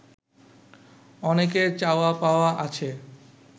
অনেকের চাওয়া পাওয়া আছে